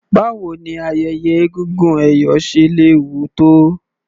Báwo ni ayẹyẹ egúngún ẹ̀yọ̀ ṣe léwu tó.